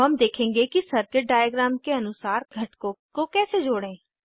अब हम देखेंगे कि सर्किट डायग्राम के अनुसार घटकों को कैसे जोड़ें